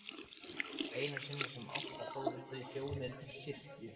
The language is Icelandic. Einu sinni sem oftar fóru þau hjónin til kirkju.